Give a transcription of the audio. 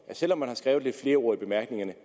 selv om man har skrevet lidt flere ord i bemærkningerne